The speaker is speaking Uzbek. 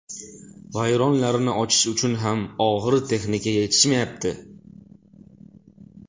Vayronlarni ochish uchun og‘ir texnika yetishmayapti.